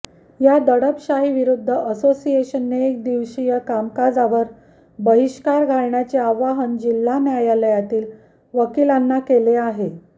या दडपशाहीविरुद्ध असोसिएशनने एक दिवस कामकाजावर बहिष्कार घालण्याचे आवाहन जिल्हा न्यायालयातील वकिलांना केले आहे